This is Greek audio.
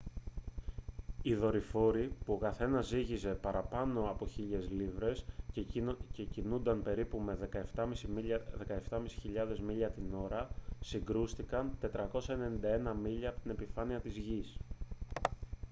οι δορυφόροι που ο καθένας ζύγιζε παραπάνω από 1.000 λίβρες και κινούνταν περίπου με 17.500 μίλια την ώρα συγκρούστηκαν 491 μίλια από την επιφάνεια της γης